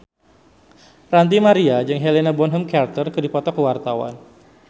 Ranty Maria jeung Helena Bonham Carter keur dipoto ku wartawan